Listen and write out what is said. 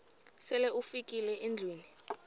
sele ufikile endlwini